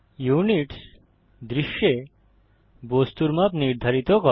units দৃশ্যে বস্তুর মাপ নির্ধারিত করে